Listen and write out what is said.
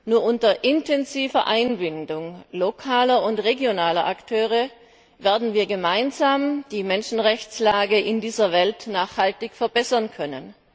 Nur unter intensiver Einbindung lokaler und regionaler Akteure werden wir die Menschenrechtslage in dieser Welt gemeinsam nachhaltig verbessern können.